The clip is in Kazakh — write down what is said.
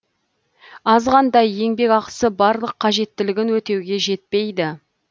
азғантай еңбекақысы барлық қажеттілігін өтеуге жетпейді